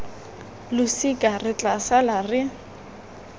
losika re tla sala re